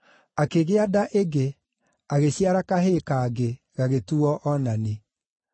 Akĩgĩa nda ĩngĩ, agĩciara kahĩĩ kangĩ gagĩtuuo Onani.